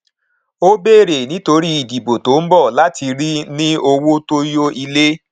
ó bèrè nítorí ìdìbò tó ń bọ láti ní owó tó yó ilé